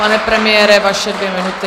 Pane premiére, vaše dvě minuty.